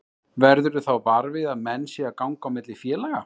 Verðurðu þá var við að menn séu að ganga á milli félaga?